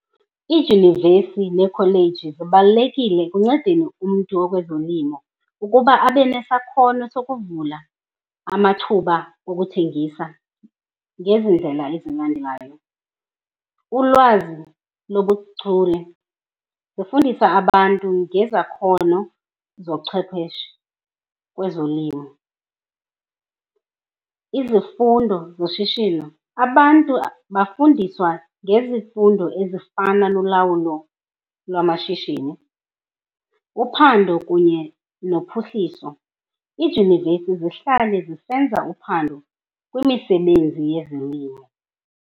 Iidyunivesi neekholeji zibalulekile ekuncedeni umntu okwezolimo ukuba abe nesakhono sokuvula amathuba okuthengisa ngezi ndlela ezilandelayo. Ulwazi lobuchule, zifundisa abantu ngezakhono zochwepheshe kwezolimo. Izifundo zoshishino, abantu bafundiswa ngezifundo ezifana nolawulo lwamashishini. Uphando kunye nophuhliso, iidyunivesi zihlale zisenza uphando kwimisebenzi yezolimo.